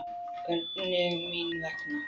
Hvernig mín vegna?